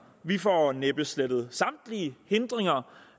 vi får næppe slettet samtlige hindringer